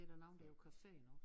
Er der nogen der er på café nu